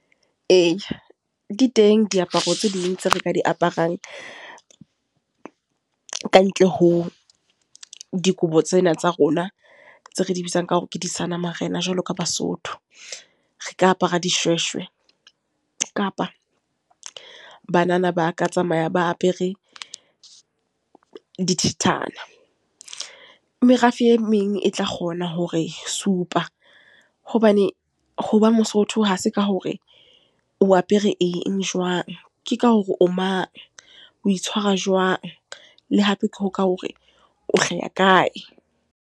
Eya, di teng diaparo tse ding tse re ka di aparang. Kantle ho dikobo tsena tsa rona, tse re di bitsang ka hore ke di seanamarena jwalo ka Basotho. Re ka apara dishweshwe. Kapa banana ba ka tsamaya ba apere dithethana. Merafe e meng e tla kgona hore supa. Hobane hoba mosotho, hase ka hore o apere eng jwang. Ke ka hore o mang, o itshwara jwang, le hape ke ho ka hore o hlaha kae.